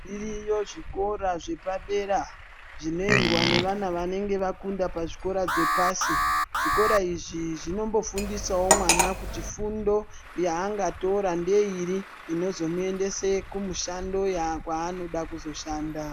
Zviriyo zvikora zvepadera zvinoendwa nevana vanenge vakunda pazvikora zvepasi. Zvikora izvi zvinombofundisavo mwana kuti fundo yaangatora ngeiri inozomuendese kumushando kwanoda kuzoshanda.